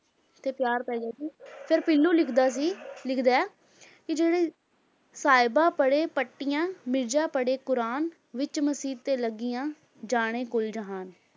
ਤੇ ਪਿਆਰ ਪੈ ਗਿਆ ਸੀ ਫਿਰ ਪੀਲੂ ਲਿਖਦਾ ਸੀ ਲਿਖਦਾ ਹੈ ਕਿ ਜਿਹੜੇ ਸਾਹਿਬਾਂ ਪੜ੍ਹੇ ਪੱਟੀਆਂ, ਮਿਰਜਾ ਪੜ੍ਹੇ ਕੁੁਰਾਨ, ਵਿੱਚ ਮਸੀਤ ਦੇ ਲੱਗੀਆਂ, ਜਾਣੇ ਕੁੱਲ ਜਹਾਨ।